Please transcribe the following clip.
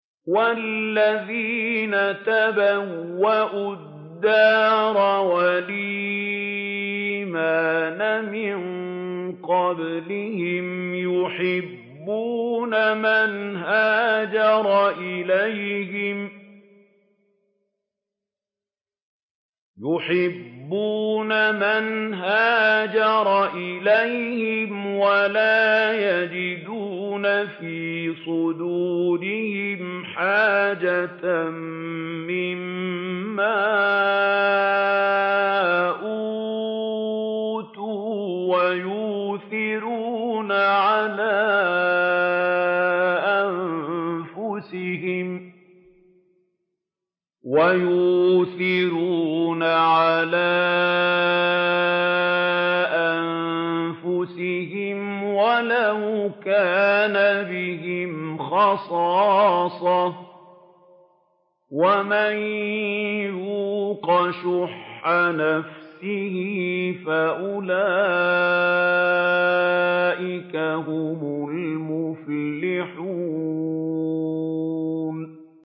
وَالَّذِينَ تَبَوَّءُوا الدَّارَ وَالْإِيمَانَ مِن قَبْلِهِمْ يُحِبُّونَ مَنْ هَاجَرَ إِلَيْهِمْ وَلَا يَجِدُونَ فِي صُدُورِهِمْ حَاجَةً مِّمَّا أُوتُوا وَيُؤْثِرُونَ عَلَىٰ أَنفُسِهِمْ وَلَوْ كَانَ بِهِمْ خَصَاصَةٌ ۚ وَمَن يُوقَ شُحَّ نَفْسِهِ فَأُولَٰئِكَ هُمُ الْمُفْلِحُونَ